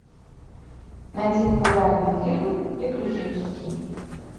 найди популярный фильм приключенческий